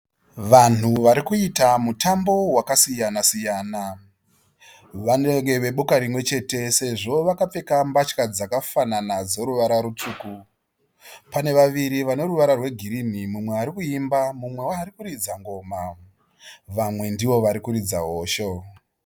Vanhu vari kuita mutambo wakasiyana siyana. Vanenge veboka rimwe chete sezvo vakapfeka mbatya dzakafanana dzeruvara rutsvuku. Pane vaviri vane ruvara rwegirini mumwe ari kuimba mumwewo akuridza ngoma. Vamwe ndivo vari kuridza hosho.